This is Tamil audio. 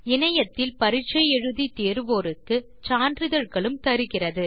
இணையத்தில் பரிட்சை எழுதி தேர்வோருக்கு சான்றிதழ்களும் தருகிறது